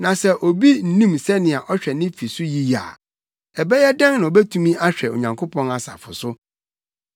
Na sɛ obi nnim sɛnea ɔhwɛ ne fi so yiye a, ɛbɛyɛ dɛn na obetumi ahwɛ Onyankopɔn asafo so?